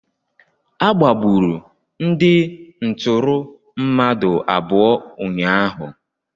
Agbagburu ndị ntụrụ mmadụ abụọ ụnyaahụ.